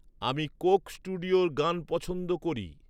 আমি কোক স্টুডিওর গান পছন্দ করি